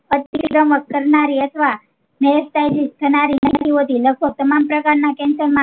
કરનારી અથવા થનારી નઈ હોતી લગભગ તમામ પ્રકાર ના cancer માં